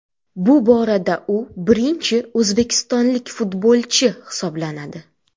Bu borada u birinchi o‘zbekistonlik futbolchi hisoblanadi.